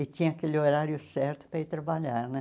e tinha aquele horário certo para ir trabalhar né.